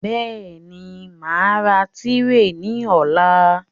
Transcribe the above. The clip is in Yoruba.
Bẹ́ẹ̀ni, màá ra tírè ní ọ̀la